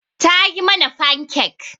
Ta yi mana fankek.